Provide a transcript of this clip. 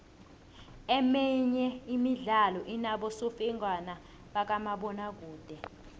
emenye imidlalo inobosofengwana bakamabona kude